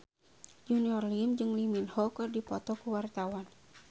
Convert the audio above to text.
Junior Liem jeung Lee Min Ho keur dipoto ku wartawan